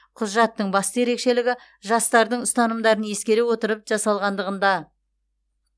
құжаттың басты ерекшелігі жастардың ұстанымдарын ескере отырып жасалғандығында